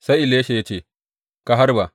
Sai Elisha ya ce, Ka harba!